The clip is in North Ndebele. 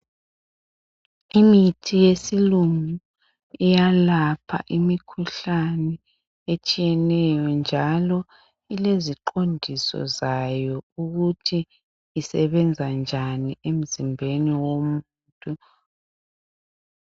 Imithi yesilungu iyalapha imikhuhlane etshiyeneyo njalo ileziqondiso zayo ukuthi isebenza njani emzimbeni womuntu.